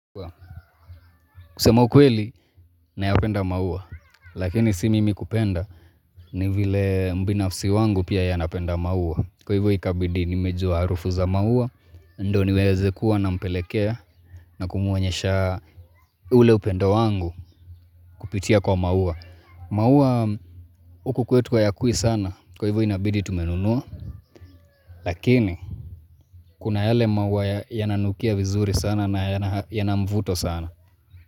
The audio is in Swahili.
Kusema ukweli nayopenda maua, lakini si mimi kupenda ni vile mbinafsi wangu pia ya napenda maua Kwa hivyo ikabidi nimejua harufu za maua, ndo niweze kuwa na mpelekea na kumuonyesha ule upendo wangu kupitia kwa maua maua huku kwetu hayakui sana, kwa hivyo inabidi tumenunua, lakini kuna hile maua ya nanukia vizuri sana na ya na yana mvuto sana.